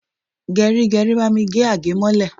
Geri geri, bami gé agemole!